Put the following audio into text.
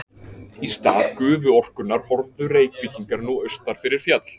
Í stað gufuorkunnar horfðu Reykvíkingar nú austur fyrir fjall.